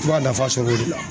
I b'a nafa sɔr'o de la.